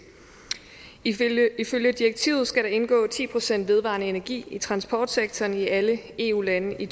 ifølge ifølge direktivet skal der indgå ti procent vedvarende energi i transportsektoren i alle eu lande i